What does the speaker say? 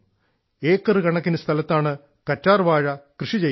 ഏക്കറുകണക്കിന് സ്ഥലത്താണ് കറ്റാർവാഴ കൃഷി ചെയ്യുന്നത്